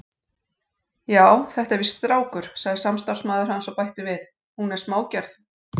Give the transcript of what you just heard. Já, þetta er víst strákur, sagði samstarfsmaður hans og bætti við: Hún er smágerð.